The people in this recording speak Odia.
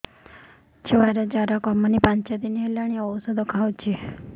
ଛୁଆ ଜର କମୁନି ପାଞ୍ଚ ଦିନ ହେଲାଣି ଔଷଧ ଖାଉଛି